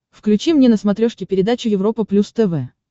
включи мне на смотрешке передачу европа плюс тв